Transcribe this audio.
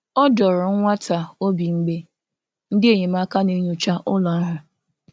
Ọ dọ̀ọrọ nwa ntà obi mgbe ndị enyemáka na-enyòcha ụlọ̀ ahụ̀.